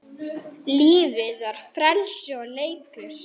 Lífið var frelsi og leikur.